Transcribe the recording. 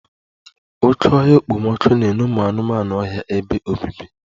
Oké ọhịa okpomọkụ na-enye ụmụ anụmanụ ọhịa ebe obibi